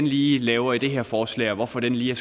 lige laver i det her forslag og hvorfor det lige er